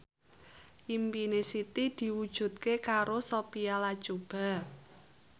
impine Siti diwujudke karo Sophia Latjuba